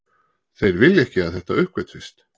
Þeir vilja ekki að þetta uppgötvist